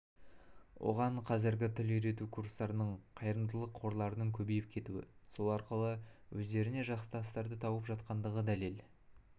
оған қазіргі тіл үйрету курстарының қайырымдылық қорларының көбейіп кетуі сол арқылы өздеріне жақтастарды тауып жатқандығы дәлел